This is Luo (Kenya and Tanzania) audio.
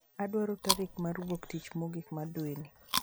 Adwaro tarik mar wuok tich mogik mar dweni